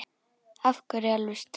Af hverju alveg strax?